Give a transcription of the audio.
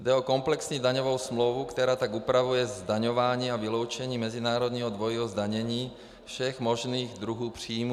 Jde o komplexní daňovou smlouvu, která tak upravuje zdaňování a vyloučení mezinárodního dvojího zdanění všech možných druhů příjmů.